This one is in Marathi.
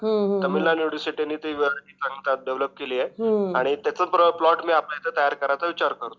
तामिळनाडू युनिव्हर्सिटी त्यावर एक अँप डेव्हलप केली आहे तर त्याचबरोबर मी आपला प्लॉट तयार करायचा विचार करतो आहे.